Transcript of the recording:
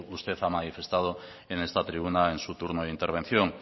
usted ha manifestado en esta tribuna en su turno de intervención